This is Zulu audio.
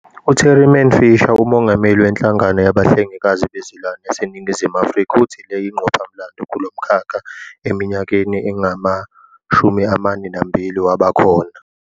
U-Tariman Fisher, uMongameli weNhlangano Yabahlengikazi Bezilwane yaseNingizimu Afrika, uthi le yingqophamlando kulo mkhakha eminyakeni engama-42 waba khona.